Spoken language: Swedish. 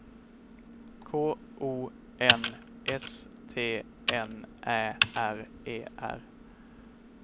K O N S T N Ä R E R